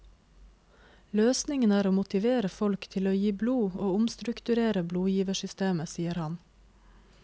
Løsningen er å motivere folk til å gi blod og omstrukturere blodgiversystemet, sier han.